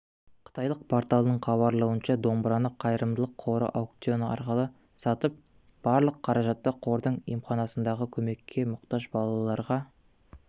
қытайлық порталының хабарлауынша домбыраны қайырымдылық қоры аукцион арқылы сатып барлық қаражатты қордың емханасындағы көмекке мұқтаж балаларға